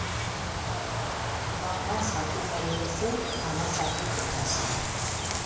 баба сату бәйгесі ала сату додасы